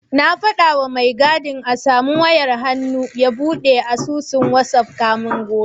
Na faɗawa mai gadin a samu wayar hannu ya buɗe asusun wazaf kafin gobe.